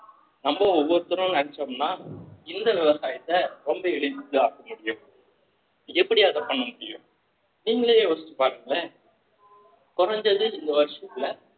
நம்ம ஒவ்வொருத்தரும் நினைச்சோம்ன்னா இந்த விவசாயத்தை ரொம்ப எளிதாக்க முடியும் எப்படி அத பண்ண முடியும் நீங்களே யோசிச்சு பாருங்களேன் குறைஞ்சது இந்த வருஷத்துல